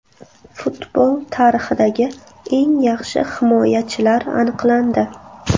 Futbol tarixidagi eng yaxshi himoyachilar aniqlandi.